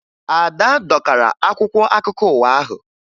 Ada dọkara akwụkwọ akụkọ ụwa ahụ